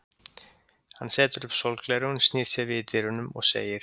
Hann setur upp sólgleraugun, snýr sér við í dyrunum og segir